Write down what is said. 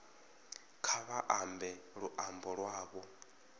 kha vha ambe luambo lwavho